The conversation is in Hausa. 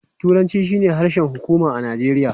Turanci shine harshen hukuma a Najeriya.